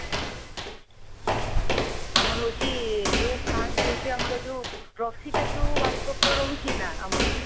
ଆମର ହଉଛି ଯଉ first ହଉଛି ଆମର ଯଉ trophy ଟା ଯଉ world cup ରେ ରହୁଛି ନା ଆମର